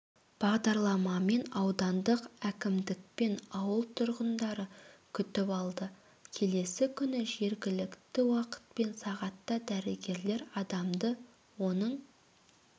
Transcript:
бағдарламамен аудандық әкімдікпен ауыл тұрғындары күтіп алды келесі күні жергілікті уақытпен сағатта дәрігерлер адамды оның